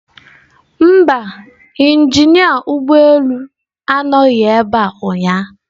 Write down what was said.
Mba, injinia ụgbọ elu anọghị ebe a ụnyaahụ